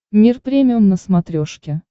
мир премиум на смотрешке